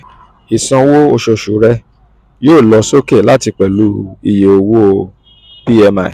isanwo oṣooṣu rẹ yoo lọ soke lati pẹlu iye owo pmi.